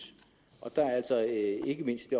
og der er altså ikke mindst i